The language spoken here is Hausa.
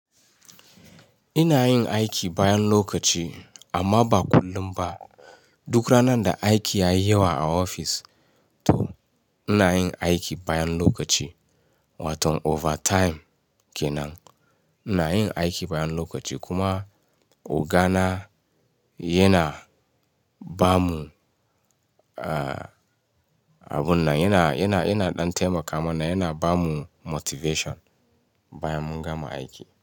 Ina yin aiki bayan lokaci amma ba kullum ba. Duk ranan da aiki yayi yawa a office to ina yin aiki bayan lokaci wato overtime kenan. Ina yin aiki bayan lokaci kuma ogana yana ba mu, a, abun nan yana, yana, yana ɗan taimaka mana yana ba mu motivation bayan mun gama aiki.